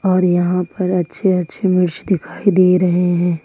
और यहां पर अच्छे अच्छे मिर्च दिखाई दे रहे हैं।